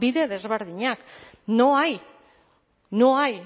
bide desberdinak no hay no hay